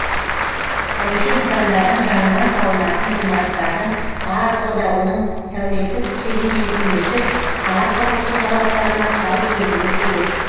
тарихи нысандардың жанынан салынатын ғимараттардың барлығы да оның сәулеттік стилімен үйлесіп қала құрылысы талаптарына сай келуі керек